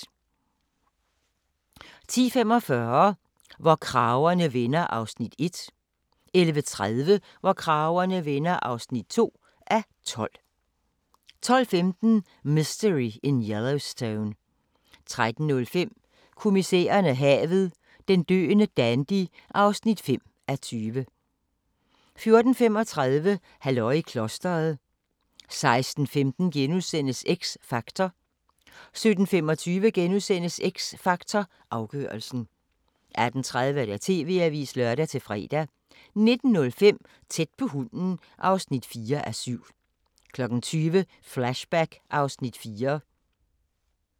10:45: Hvor kragerne vender (1:12) 11:30: Hvor kragerne vender (2:12) 12:15: Mystery in Yellowstone 13:05: Kommissæren og havet: Den døende dandy (5:20) 14:35: Halløj i klostret 16:15: X Factor * 17:25: X Factor Afgørelsen * 18:30: TV-avisen (lør-fre) 19:05: Tæt på hunden (4:7) 20:00: Flashback (Afs. 4)